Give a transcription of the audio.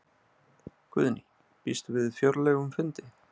Guðný: Býstu við fjörlegum fundi?